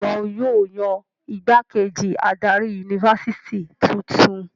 Bẹ́ẹ̀ ni, wọn yóò yan ìgbákejì adarí yunifásitì tuntun.